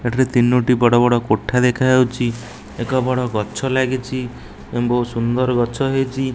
ଏଠାରେ ତିନୋଟି ବଡ଼ ବଡ଼ କୋଠା ଦେଖାଯାଉଚି। ଏକ ବଡ଼ ଗଛ ଲାଗିଚି ଏବଂ ସୁନ୍ଦର ଗଛ ହେଇଚି।